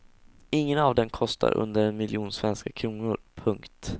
Ingen av dem kostar under en miljon svenska kronor. punkt